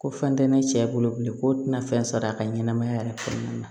Ko fɛn tɛ ne cɛ bolo bilen ko tɛna fɛn sɔrɔ a ka ɲɛnɛmaya yɛrɛ kɔnɔna na